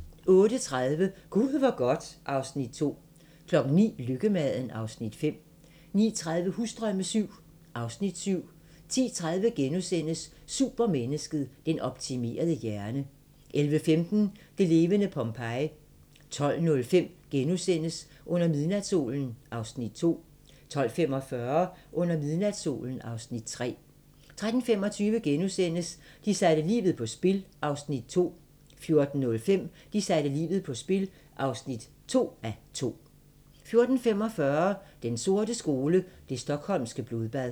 08:30: Gud hvor godt (Afs. 2) 09:00: Lykkemaden (Afs. 5) 09:30: Husdrømme VII (Afs. 7) 10:30: Supermennesket: Den optimerede hjerne * 11:15: Det levende Pompeji 12:05: Under midnatssolen (Afs. 2)* 12:45: Under midnatssolen (Afs. 3) 13:25: De satte livet på spil (1:2)* 14:05: De satte livet på spil (2:2) 14:45: Den sorte skole: Det Stockholmske Blodbad